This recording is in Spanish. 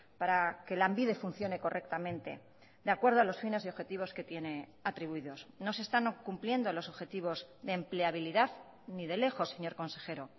para que lanbide funcione correctamente de acuerdo a los fines y objetivos que tiene atribuidos no se están cumpliendo los objetivos de empleabilidad ni de lejos señor consejero